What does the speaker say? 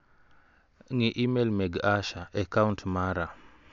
Ng'i imel mag Asha e kaunt mara.